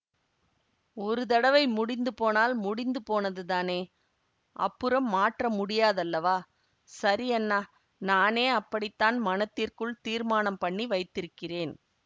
ஒரு தடவை முடிந்து போனால் முடிந்துபோனது தானே அப்புறம் மாற்ற முடியாதல்லவா சரி அண்ணா நானே அப்படித்தான் மனத்திற்குள் தீர்மானம் பண்ணி வைத்திருக்கிறேன்